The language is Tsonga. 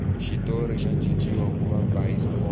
xitori xa cinciwa kuva bayisikopo